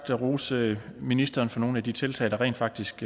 det rose ministeren for nogle af de tiltag der rent faktisk